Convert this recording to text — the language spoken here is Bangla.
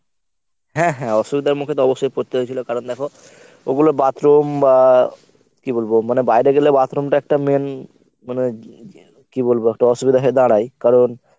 হ্যাঁ হ্যাঁ অসুবিধার মুখে তো পরতে হয়েছিল কারণ দেখ ওগুলো bathroom বা কী বলবো মানে বাইরে গেলে bathroom টা একটা main মনে হয় কী বলবো একটা অসুবিধা হয়ে দাঁড়ায় কারণ